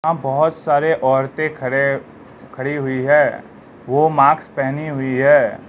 यहां बहुत सारे औरतें खड़े खड़ी हुई है वो मास्क पहनी हुई है।